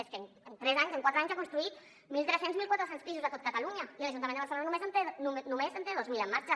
és que en tres anys en quatre anys ha construït mil tres cents mil quatre cents pisos a tot catalunya i l’ajuntament de barcelona només en té dos mil en marxa